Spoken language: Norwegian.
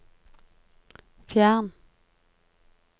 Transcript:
fjern